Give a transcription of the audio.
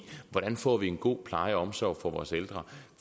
hvordan vi får en god pleje og omsorg for vores ældre